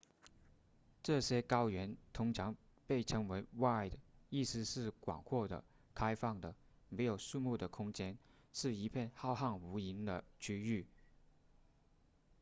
这些高原通常被称为 vidde 意思是广阔的开放的没有树木的空间是一片浩瀚无垠的区域